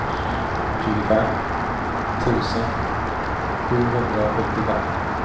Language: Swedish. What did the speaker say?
tjugofem tusen sjuhundrasjuttiofem